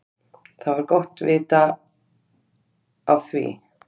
Það var gott vita af því.